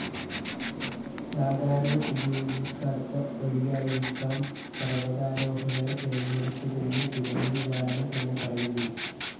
സാധാരണ ഉപയോഗിയ്ക്കാത്ത വഴിയായിരിയ്ക്കാം പര്‍വതാരോഹകര്‍ തിരഞ്ഞെടുത്തതെന്ന് ദുരന്തനിവാരണ സേന പറയുന്നു